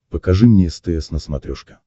покажи мне стс на смотрешке